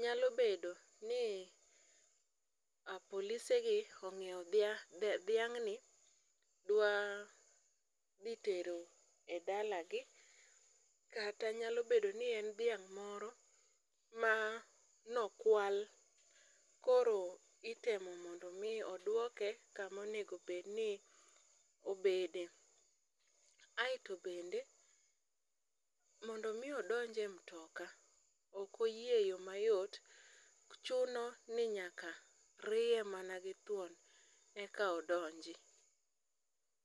Nyalo bedo ni polisegi onyiewo dhiang'ni, dwa dhi tero e dalagi, kata nyalo bedo ni en dhiang' moro manokwal, koro itemo mondo omi odwoke kamonego obedni obede, aeto bende, mondo omi odonj e mtoka, ok oyie e yo mayot, chuno ni nyaka riye man githwon eka odonji.